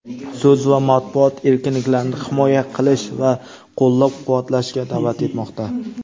so‘z va matbuot erkinliklarini himoya qilish va qo‘llab-quvvatlashga da’vat etmoqda.